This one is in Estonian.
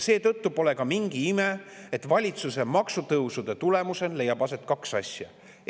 Seetõttu pole ka mingi ime, et valitsuse maksutõusude tulemusel leiab aset kaks asja.